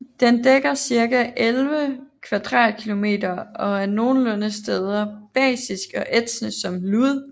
Den dækker cirka 11 kvadratkilometer og er nogle steder basisk og ætsende som lud